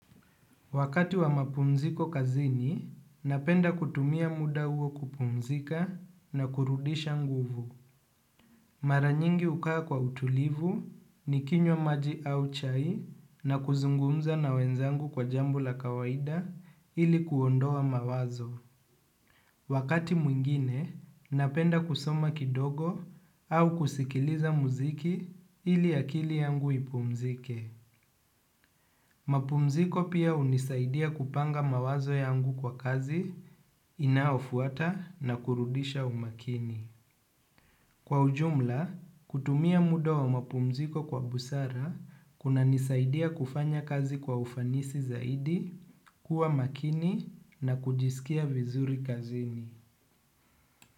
Wakati wa mapumziko kazini, napenda kutumia muda huo kupumzika na kurudisha nguvu. Maranyingi hukaa kwa utulivu ni kinywa maji au chai na kuzungumza na wenzangu kwa jambo la kawaida ili kuondoa mawazo. Wakati mwingine, napenda kusoma kidogo au kusikiliza muziki ili akili yangu ipumzike. Mapumziko pia hunisaidia kupanga mawazo yangu kwa kazi, inaofuata na kurudisha umakini. Kwa ujumla, kutumia muda wa mapumziko kwa busara kuna nisaidia kufanya kazi kwa ufanisi zaidi, kuwa makini na kujisikia vizuri kazini.